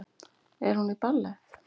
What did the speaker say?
Er hún í ballett?